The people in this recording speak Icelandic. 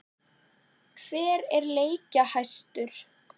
Hver er leikjahæstur?